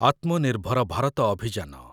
ଆତ୍ମନିର୍ଭର ଭାରତ ଅଭିଯାନ